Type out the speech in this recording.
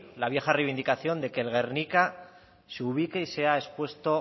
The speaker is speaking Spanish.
la vieja reivindicación de que el guernica se ubique y sea expuesto